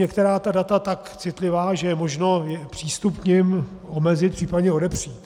Některá data jsou tak citlivá, že je možno přístup k nim omezit, případně odepřít.